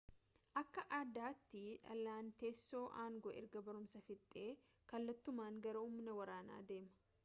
akka aadaatti dhaalaan teessoo aangoo erga barumsa fixee kallattumaan gara humna waraanaa deema